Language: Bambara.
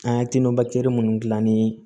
An ye minnu dilan ni